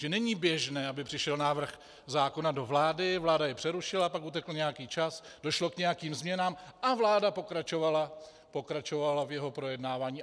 Že není běžné, aby přišel návrh zákona do vlády, vláda jej přerušila, pak utekl nějaký čas, došlo k nějakým změnám a vláda pokračovala v jeho projednávání.